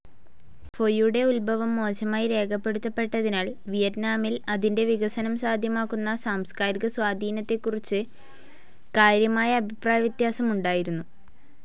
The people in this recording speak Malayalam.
ഫൊയുടെ ഉത്ഭവം മോശമായി രേഖപ്പെടുത്തപ്പെട്ടതിനാൽ, വിയറ്റ്നാമിൽ അതിന്റെ വികസനം സാധ്യമാക്കുന്ന സാംസ്കാരിക സ്വാധീനത്തെക്കുറിച്ച് കാര്യമായ അഭിപ്രായവ്യത്യാസമുണ്ടായിരുന്നു.